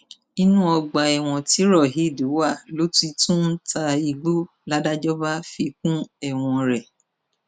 inú ọgbà ẹwọn tí raheed wà ló ti tún ń ta igbó ládàjọ bá fi kún ẹwọn rẹ